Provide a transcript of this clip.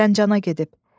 Zəncana gedib.